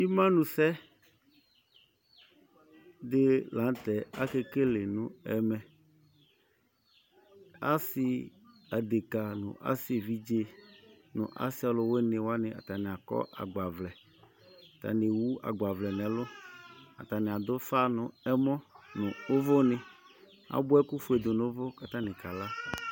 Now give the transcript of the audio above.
Ɩmanusɛ dɩ la nʋ tɛ akekele nʋ ɛmɛ Asɩ adekǝ nʋ asɩ evidze nʋ asɩ alʋwɩnɩ wanɩ, atanɩ akɔ agbavlɛ, atanɩ ewu agbavlɛ nʋ ɛlʋ, atanɩ adʋ ʋfa nʋ ɛmɔ nʋ ʋvʋnɩ, abʋa ɛkʋfue dʋ nʋ ʋvʋ kʋ atanɩ kala